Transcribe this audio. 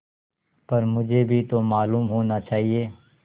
पर मुझे भी तो मालूम होना चाहिए